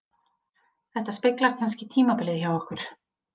Þetta speglar kannski tímabilið hjá okkur